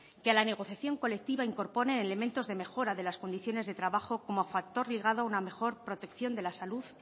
que a la negociación colectiva incorpore elementos de mejora de las condiciones de trabajo como factor ligado a una mejor protección de la salud